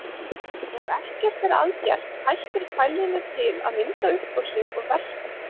Ef ekkert er að gert hættir fælninni til að vinda upp á sig og versna.